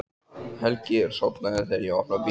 Helgi er sofnaður þegar ég opna bílinn.